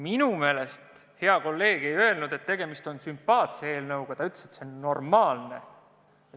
Minu meelest hea kolleeg ei öelnud, et tegemist on sümpaatse eelnõuga, ta ütles, et see on normaalne.